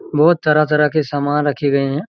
बहोत तरह-तरह के सामान रखे गए है।